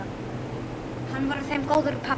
Hann var þeim góður pabbi.